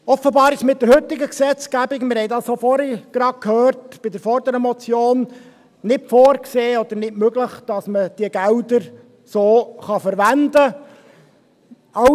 Offenbar ist es mit der heutigen Gesetzgebung – wir haben dies auch vorhin, bei der vorangehenden Motion, gerade gehört – nicht vorgesehen oder nicht möglich, dass man diese Gelder so verwenden kann.